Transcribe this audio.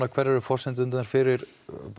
hverjar eru forsendurnar fyrir